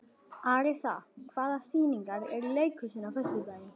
Arisa, hvaða sýningar eru í leikhúsinu á föstudaginn?